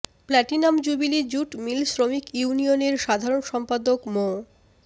platinum jubilee jute mill শ্রমিক ইউনিয়নের সাধারণ সম্পাদক মো